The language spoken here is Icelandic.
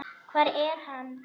Hvar er hann?